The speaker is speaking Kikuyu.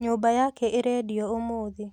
Nyũmba yake ĩrendio ũmũthĩ